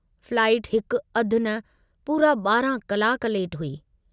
Flight हिक अधु न पूरा 12 कलाक लेट हुई।